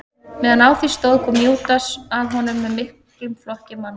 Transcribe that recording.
Meðan á því stóð kom Júdas að honum með miklum flokki manna.